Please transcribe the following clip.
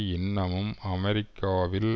இன்னமும் அறிவிக்கவில்லை